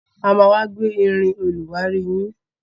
A má wá gbé irin olùwárí yín